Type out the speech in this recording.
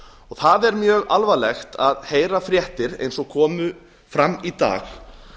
það er mjög alvarlegt að heyra fréttir eins og komu fram í dag